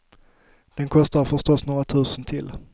Den kostar förstås några tusen till.